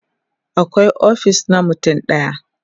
akwai ofis na mutum ɗaya